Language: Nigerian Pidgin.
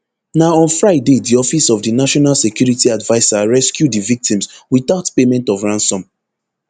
na on friday di office of di national security adviser rescue di victims witout payment of ransom